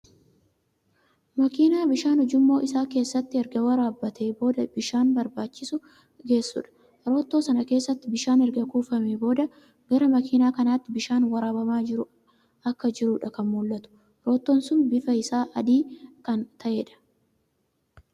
Makiina bishaan ujummoo isaa keessatti erga waraabbatee booda iddoo bishaan barbaachisu geessudha. Roottoo sana keessatti bishaan erga kuufamee booda gara makiinaa kanaatti bishaan waraabamaa akka jiruudha kan mul'atu. Roottoon suni bifa isaa adii kan ta'eedha.